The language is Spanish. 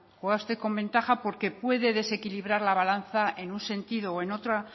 juega usted con ventaja porque puede desequilibrar la balanza en un sentido o en otra